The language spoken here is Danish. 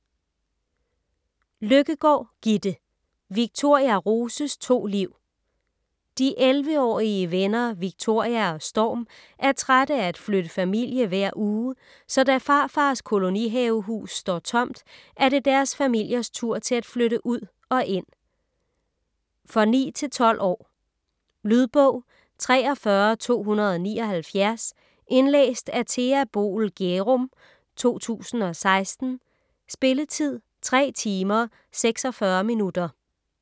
Løkkegaard, Gitte: Victoria Roses to liv De 11-årige venner Victoria og Storm er trætte af at flytte familie hver uge, så da farfars kolonihavehus står tomt, er det deres familiers tur til at flytte ud og ind. For 9-12 år. Lydbog 43279 Indlæst af Thea Boel Gjerum, 2016. Spilletid: 3 timer, 46 minutter.